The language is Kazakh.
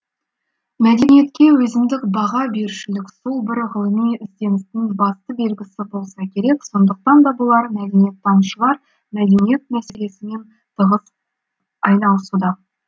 мәдениетке өзіндік баға берушілік сол бір ғылыми ізденістің басты белгісі болса керек сондықтан да болар мәдениеттанушылар мәдениет мәселесімен тығыз айналысуда